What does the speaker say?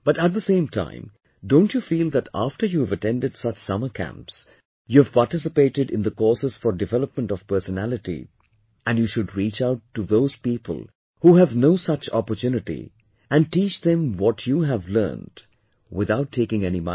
But at the same time, don't you feel that after you've attended such summer camps, you have participated in the courses for development of personality and you reach out to those people who have no such opportunity and teach them what you have learned without taking any money